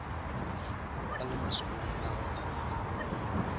a le masolong a gwatanka